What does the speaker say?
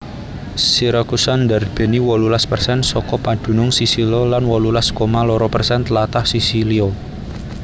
Siracusa ndarbèni wolulas persen saka padunung Sisilia lan wolulas koma loro persen tlatah Sisilia